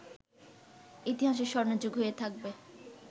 ইতিহাসে ‘স্বর্ণযুগ’ হয়ে থাকবে